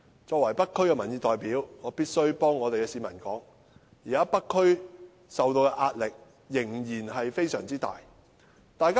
作為北區的民意代表，我必須代這區的居民說，現在北區受到的壓力仍然非常大。